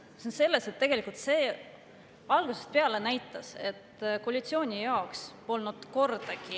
See on selles, et tegelikult see algusest peale näitas, et koalitsiooni jaoks polnud kordagi …